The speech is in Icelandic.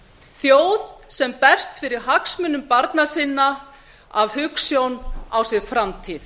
þjóð sem berst fyrir hagsmunum barna sinna af hugsjón á sér framtíð